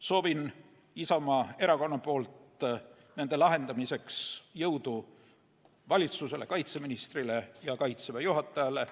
Soovin Isamaa Erakonna poolt nende lahendamiseks jõudu valitsusele, kaitseministrile ja Kaitseväe juhatajale.